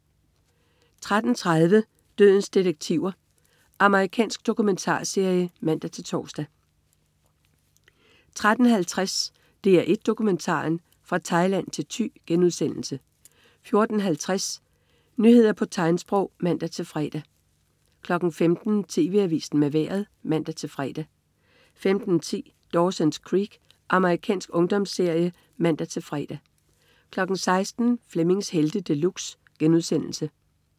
13.30 Dødens detektiver. Amerikansk dokumentarserie (man-tors) 13.50 DR1 Dokumentaren: Fra Thailand til Thy* 14.50 Nyheder på tegnsprog (man-fre) 15.00 TV Avisen med Vejret (man-fre) 15.10 Dawson's Creek. Amerikansk ungdomsserie (man-fre) 16.00 Flemmings Helte De Luxe*